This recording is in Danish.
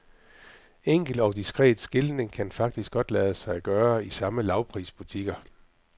Enkel og diskret skiltning kan faktisk godt lade sig gøre i samme lavprisbutikker.